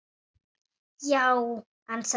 Já, ansaði Sveinn.